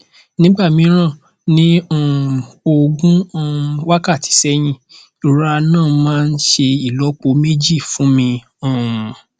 nígbà mìíràn ní um ogún um wákàtí sẹyìn ìrora náà máa ń ṣe ìlọpo méjì fún mi um